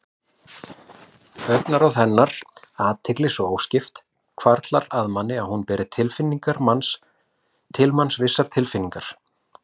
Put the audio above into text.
En hér er vandi á ferð.